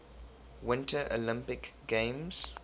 winter olympic games